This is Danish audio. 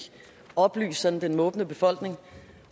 oplyse den måbende befolkning